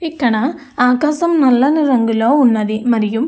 ఇక్కడ ఆకాశం నల్లని రంగులో ఉన్నది. మరియు --